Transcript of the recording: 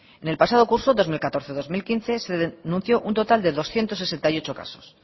en el pasado curso dos mil catorce dos mil quince se denunció un total de doscientos sesenta y ocho casos